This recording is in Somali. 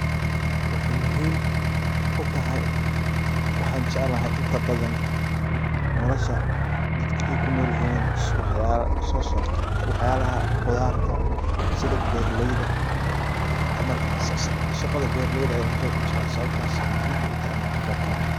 Waxay muhiim u tahay waxaan jeclahay inta badan nolosha dadka ay ku noolyihiin si waxyaala u so saarto waxyaalaha qudarta sida beeraleyda camal shaqada beeraleyda ayan zaiid u jeclahay sababtas ayay muhiim igu tahay inaan ka qayb qaato.